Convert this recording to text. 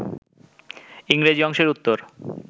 ইংরেজি অংশের উত্তর